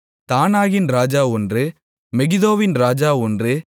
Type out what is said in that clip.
தானாகின் ராஜா ஒன்று மெகிதோவின் ராஜா ஒன்று